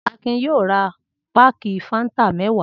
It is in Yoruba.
Akin yóò ra páákì Fanta mẹ́wàá.